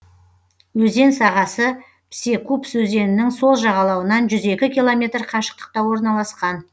өзен сағасы псекупс өзенінің сол жағалауынан жүз екі километр қашықтықта орналасқан